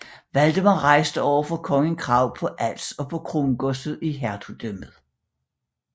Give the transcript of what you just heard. Valdemar rejste overfor kongen krav på Als og på krongodset i hertugdømmet